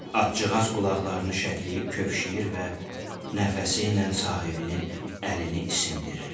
Atcığaz qulaqlarını şəkləyib kövşüyür və nəfəsi ilə sahibinin əlini isindirirdi.